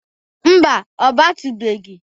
Mba, ọ batụbeghi.